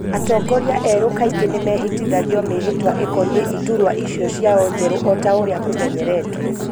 Atongorĩa erũ kaingĩ nimehitithagio mĩhĩtwa ikonĩĩ iturũa icio cio njeru o ta ũria kũmenyeretwo.